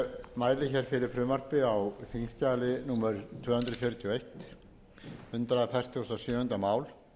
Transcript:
hundruð fjörutíu og eitt hundrað fertugasta og sjöunda mál